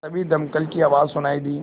तभी दमकल की आवाज़ सुनाई दी